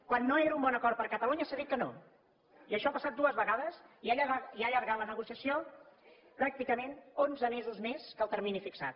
quan no era un bon acord per a catalunya s’ha dit que no i això ha passat dues vegades i ha allargat la negociació pràcticament onze mesos més que el termini fixat